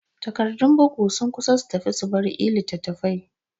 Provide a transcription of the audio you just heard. Tagardur bugu sun kusa su tafi subar e-littatafai